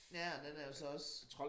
Ja og den er jo så også